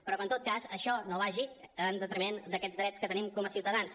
però que en tot cas això no vagi en detriment d’aquests drets que tenim com a ciutadans